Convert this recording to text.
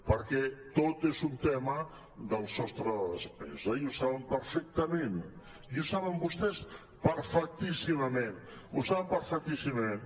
perquè tot és un tema del sostre de despesa i ho saben perfectament i ho saben vostès perfectíssimament ho saben perfectíssimament